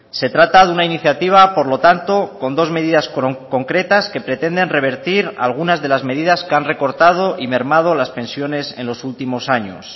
se trata de una iniciativa por lo tanto con dos medidas concretas que pretenden revertir algunas de las medidas que han recortado y mermado las pensiones en los últimos años